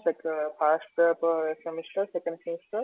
first ଟା ତ semester second semester